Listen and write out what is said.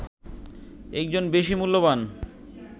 একজন বেশি মূল্যবান